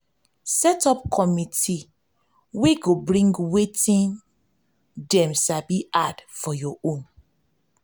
set up committe wey go bring wetin dem wetin dem sabi add for your own